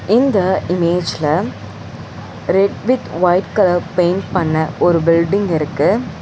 இந்த இமேஜ்ல red with white colour paint பண்ண ஒரு பில்டிங் இருக்கு.